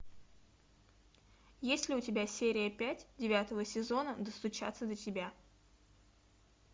есть ли у тебя серия пять девятого сезона достучаться до тебя